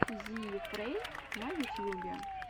зиифрей на ютьюбе